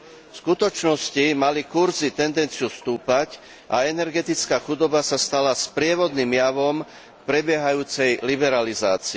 V skutočnosti mali kurzy tendenciu stúpať a energetická chudoba sa stala sprievodným javom v prebiehajúcej liberalizácii.